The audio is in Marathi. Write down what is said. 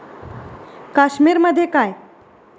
काश्मीरमध्ये काय.